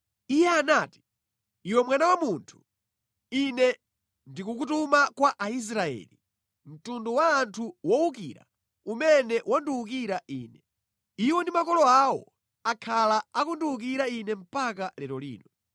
Iye anati, “Iwe mwana wa munthu, Ine ndikukutuma kwa Aisraeli, mtundu wa anthu owukira umene wandiwukira Ine; Iwo ndi makolo awo akhala akundiwukira Ine mpaka lero lino.